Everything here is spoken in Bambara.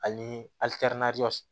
Ani